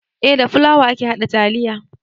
Eh da fulawa ake haɗa taliya